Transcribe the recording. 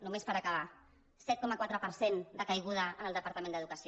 només per acabar set coma quatre per cent de caiguda en el departament d’educació